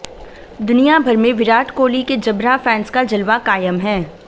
दुनिया भर में विराट कोहली के जबरा फैंस का जलवा कायम है